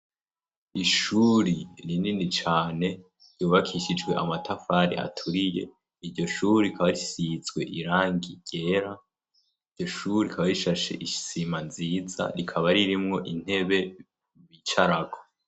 Ishuri rinini cane ryubakishijwe amatafari aturiye, iryo shuri rikaba risizwe irangi ryera, iryo shuri rikaba rishashe isima nziza rikaba ririmwo intebe bicarako.